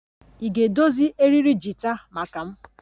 Ị ga-edozi eriri gita maka m?